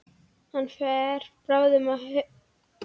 Hann fer bráðum að hausta sagði Friðrik.